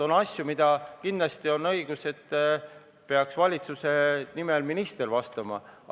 On asju, mille puhul on kindlasti õige, et valitsuse nimel peaks vastama minister.